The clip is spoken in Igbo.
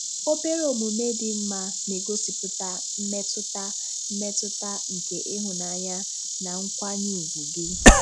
Obere omume dị mma na-egosipụta mmetụta mmetụta nke ịhụnanya na nkwanye ùgwù gị.